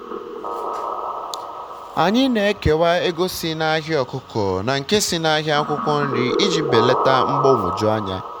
anyị na-ekewa ego si na ahịa ọkụkọ na nke si na ahịa akwụkwọ nri iji belata mgbagwoju anya.